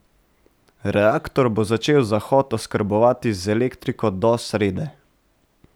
Reaktor bo začel zahod oskrbovati z elektriko do srede.